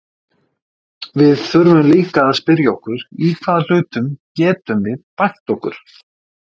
Við þurfum líka að spyrja okkur í hvaða hlutum getum við bætt okkur?